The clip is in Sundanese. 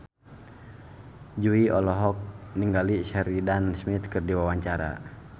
Jui olohok ningali Sheridan Smith keur diwawancara